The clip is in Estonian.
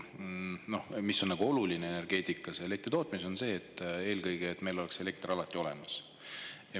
Energeetikas, elektritootmises, on eelkõige oluline see, et meil oleks elekter alati olemas.